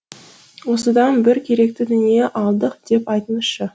осыдан бір керекті дүние алдық деп айтыңызшы